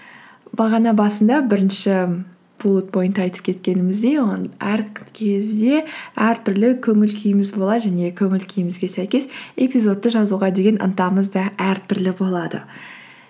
бағана басында бірінші буллет пойнтта айтып кеткеніміздей оның әр кезде әртүрлі көңіл күйіміз болады және көңіл күйімізге сәйкес эпизодты жазуға деген ынтамыз да әртүрлі болады